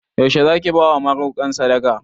Yaushe Zaki bawa marokan sadaka?